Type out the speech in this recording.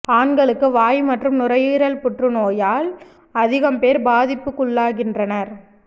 ஆண்களுக்கு வாய் மற்றும் நுரையீரல் புற்றுநோயால் அதிகம் பேர் பாதிப்புக்குள்ளாகின்றனர்